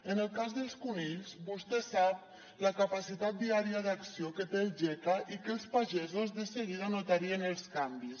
en el cas dels conills vostè sap la capacitat diària d’acció que té el geca i que els pagesos de seguida notarien els canvis